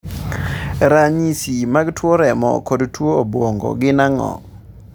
Ranyisi mag tuo remo kod tuo obwongo gin ang'o?